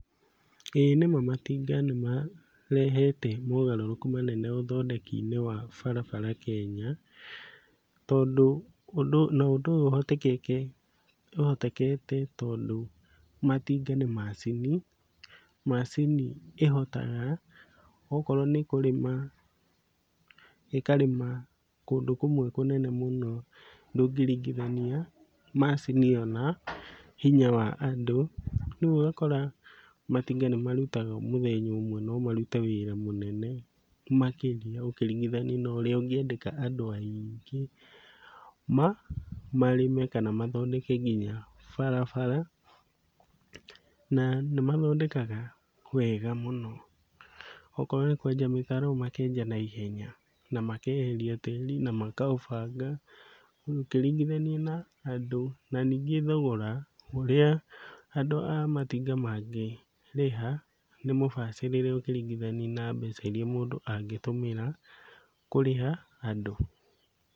Ĩĩ nĩma matinga nĩmarehete mogarũrũku manene ũthondeki-inĩ wa barabara Kenya, tondũ ũndũ na ũndũ ũyũ ũhotekekete tondũ matinga nĩ macini. Macini ĩhotaga okorwo nĩ kũrĩma ĩkarĩma kũndũ kũmwe kũnene mũno, ndũngĩringithania macini ĩyo na hinya wa andũ. Rĩu ũgakora matinga nĩmarutaga mũthenya ũmwe no marute wĩra mũnene makĩria ũkĩringithania na ũrĩa ũngĩandĩka andũ aiingĩ marĩme kana mathondeke nginya barabara, na nĩmathondekaga wega mũno, okorwo nĩ ta tũmĩtaro makenja naihenya na makeheria tĩri na makaũbanga ũkĩringithania na andũ, na ningĩ thogora ũrĩa andũ a matinga mangĩrĩha nĩmũbacĩrĩre ũkĩringithania na mbeca iria mũndũ angĩtũmĩra kũrĩha andũ.